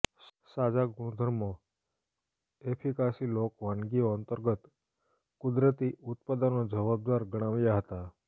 સાજા ગુણધર્મો એફિકાસી લોક વાનગીઓ અંતર્ગત કુદરતી ઉત્પાદનો જવાબદાર ગણાવ્યા હતા